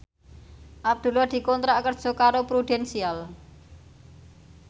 Abdullah dikontrak kerja karo Prudential